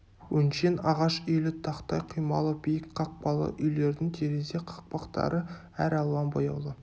өңшең ағаш үйлі тақтай құймалы биік қақпалы үйлердің терезе қақпақтары әр алуан бояулы